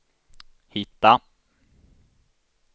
hitta